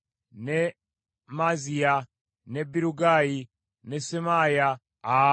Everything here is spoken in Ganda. ne Maaziya, ne Birugayi ne Semaaya. Abo be baali bakabona.